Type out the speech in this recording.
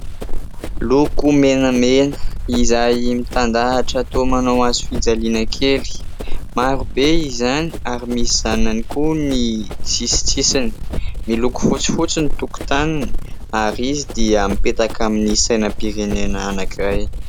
Loko menamena, izay mitandahatra toa manao hazo fijaliana kely. Maro be izany ary misy zanany koa ny sisintsisiny, miloko fotsifotsy ny tokotaniny, ary izy dia mipetaka amin'ny sainam-pirenena anankiray.